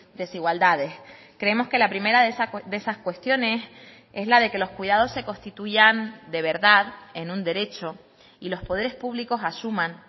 desigualdades creemos que la primera de esas cuestiones es la de que los cuidados se constituyan de verdad en un derecho y los poderes públicos asuman